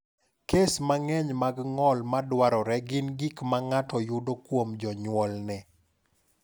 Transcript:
Kes mang’eny mag ng’ol ma dwarore gin gik ma ng’ato yudo kuom jonyuolne.